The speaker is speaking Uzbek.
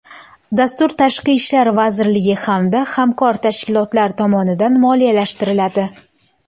Dastur Tashqi ishlar vazirligi hamda hamkor tashkilotlar tomonidan moliyalashtiriladi.